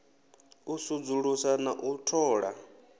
u sudzulusa na u thola